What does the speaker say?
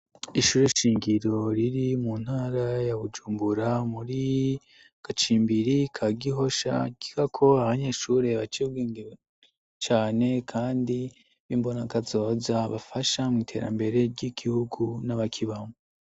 ishuri shingiro riri muntara ya bujumbura muri gacimbiri ka gihosha kigako abanyeshuri baciyebwenge cane kandi b'imbona kazoza bafasha mu iterambere ry'igihugu n'abakibamwo